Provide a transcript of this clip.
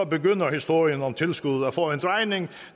begynder historien om tilskud at få en drejning